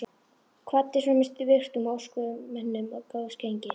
Kvaddi svo með virktum og óskaði mönnum góðs gengis.